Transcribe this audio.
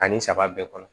Ani saba bɛɛ kɔnɔ